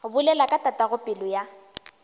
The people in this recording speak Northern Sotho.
bolela ka tatago pelo ya